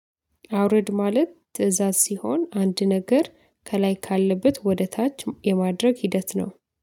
አውረድ ማለት ትእዛዝ ሲሆን አንድ ነገር ከላይ ካለበት ወደ ታች የማድረግ ሂደት ነው